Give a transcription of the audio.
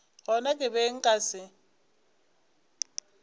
gona ke be nka se